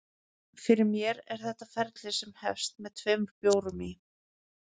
Fyrir mér er þetta ferli sem hefst með tveimur bjórum í